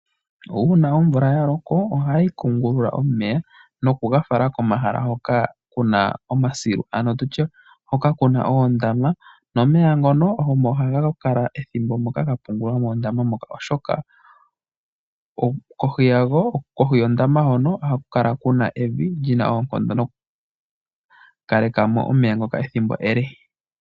Uuna omvula ya loka, ohayi kunguluka omeya nokuga fala komahala hoka kuna omasilu, ano tutye hoka kuna oondama, nomeya ngono omo haga kala ethimbo gapungulwa moondama moka oshoka kohi yondama hoka ohaku kala kuna evi lyina oonkondo noku kaleka mo omeya ethimbo ele.